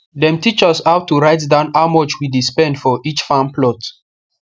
dem teach us how to write down how much we dey spend for each farm plot